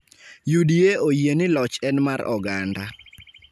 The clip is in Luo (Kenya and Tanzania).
UDA oyie ni loch en mar oganda.